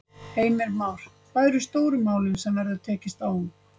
Heimir Már: Hvað eru stóru málin sem að verður tekist á um?